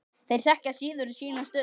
Þeir þekkja síður sína stöðu.